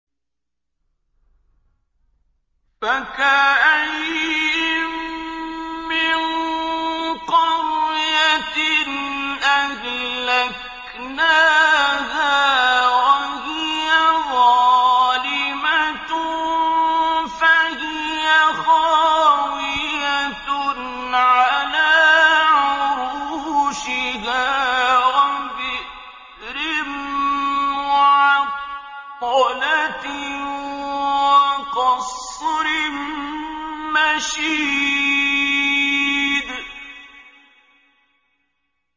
فَكَأَيِّن مِّن قَرْيَةٍ أَهْلَكْنَاهَا وَهِيَ ظَالِمَةٌ فَهِيَ خَاوِيَةٌ عَلَىٰ عُرُوشِهَا وَبِئْرٍ مُّعَطَّلَةٍ وَقَصْرٍ مَّشِيدٍ